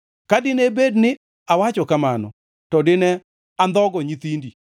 Ka dine bed ni awacho kamano, to dine andhogo nyithindi.